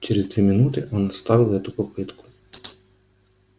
через две минуты он оставил эту попытку